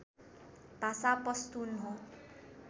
भाषा पस्तुन हो